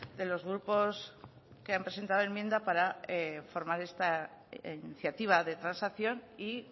de los grupos que han presentado enmienda para formar esta iniciativa de transacción y